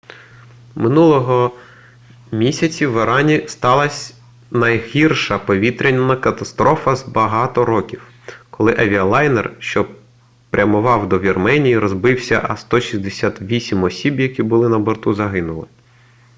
минулого місяці в ірані сталась найгірша повітряна катастрофа за багато років коли авіалайнер що прямував до вірменії розбився а 168 осіб які були на борту загинули